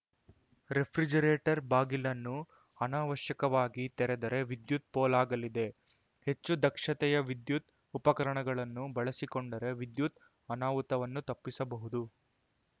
refrigerator ಬಾಗಿಲನ್ನು ಅನವಶ್ಯಕವಾಗಿ ತೆರೆದರೆ ವಿದ್ಯುತ್‌ ಪೋಲಾಗಲಿದೆ ಹೆಚ್ಚು ದಕ್ಷತೆಯ ವಿದ್ಯುತ್‌ ಉಪಕರಣಗಳನ್ನು ಬಳಸಿಕೊಂಡರೆ ವಿದ್ಯುತ್‌ ಅನಾಹುತವನ್ನು ತಪ್ಪಿಸಬಹುದು